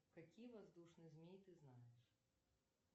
какие воздушные змеи ты знаешь